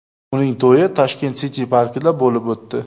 Uning to‘yi Tashkent City parkida bo‘lib o‘tdi.